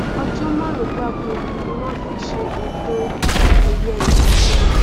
ọjọ márùnún gbáko ni wọn fi ṣe ètò ẹyẹ yìí